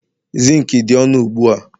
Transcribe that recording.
zinc dị ọnụ ugbu a